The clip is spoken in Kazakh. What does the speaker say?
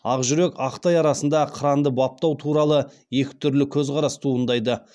ақ жүрек ақтай арасында қыранды баптау туралы екі түрлі көзқарас туындайды